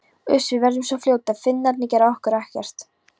Uss, við verðum svo fljótar, Finnarnir gera okkur ekkert.